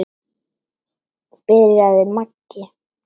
byrjaði Maggi.